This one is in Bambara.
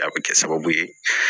A bɛ kɛ sababu ye